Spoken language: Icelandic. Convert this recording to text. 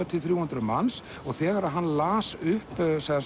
til þrjú hundruð manns og þegar hann las upp